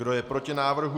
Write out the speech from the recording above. Kdo je proti návrhu?